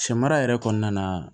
Sɛmara yɛrɛ kɔnɔna na